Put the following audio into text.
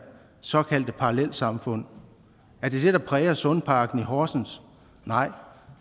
såkaldte parallelsamfund er det det der præger sundparken i horsens nej